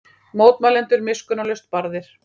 Mótmælendur miskunnarlaust barðir